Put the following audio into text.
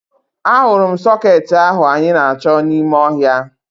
Ahụrụ m sọkeetị ahụ anyị na-achọ n'ime ọhịa